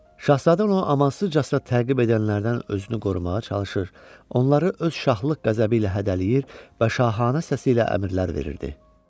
Şahzadə onu amansızcasına təqib edənlərdən özünü qorumağa çalışır, onları öz şahlıq qəzəbi ilə hədələyir və şahanə səsi ilə əmrlər verirdi.